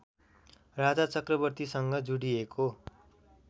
राजा चक्रवर्तीसँग जुडिएको